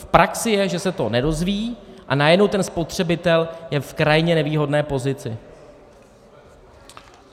V praxi je, že se to nedozví, a najednou ten spotřebitel je v krajně nevýhodné pozici.